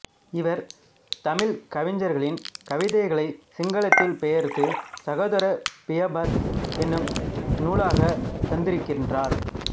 இவர் தமிழ்க் கவிஞர்களின் கவிதைகளைச் சிங்களத்தில் பெயர்த்து சகோதர பியாபத் எனும் நூலாகத் தந்திருக்கின்றார்